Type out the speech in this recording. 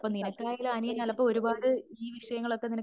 നിനക്ക് ആണെങ്കിലും അനിയനിപ്പോ ഒരുപാട് ഈ വിഷയങ്ങളൊക്കെ